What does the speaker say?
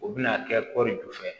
U bɛna kɛ kɔɔri ju fɛ